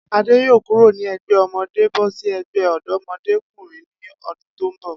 Adé yóò kúró ní e̩gbé̩ o̩mo̩dé bó̩ sí e̩gbé̩ ò̩dó̩mo̩dé o̩kùnrin ní o̩dún tó ń bò̩